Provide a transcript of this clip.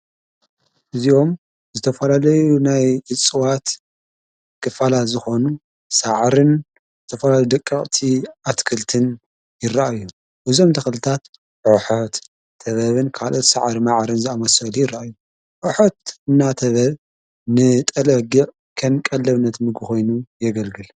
እዚዮም ዝተፈለለዩ ናይ እጽዋት ክፋላት ዝኾኑ ሠዓርን ዘተፈላለዩ ደቀቕቲ ኣትክልትን ይረአእዩ ብዞም ተኽልታት ሖሖት ተበብን ካልኦት ሠዓሪ መዓርን ዝኣመሠወል ይረአ እዩ ሖሑት እና ተበብ ንጠለግቕ ከም ቀለብነት ምግቢ ኾይኑ የገልግል።